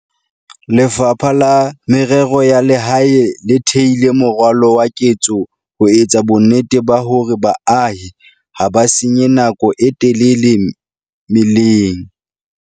Lefapha la Merero ya Lehae le theile moralo wa ketso ho etsa bonnete ba hore baahi ha ba senye nako e telele meleng.